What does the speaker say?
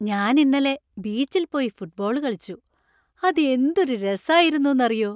ഞാൻ ഇന്നലെ ബീച്ചിൽ പോയി ഫുട്ബോൾ കളിച്ചു. അത് എന്തൊരു രസായിരുന്നൂന്ന് അറിയോ .